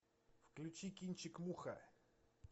включи кинчик муха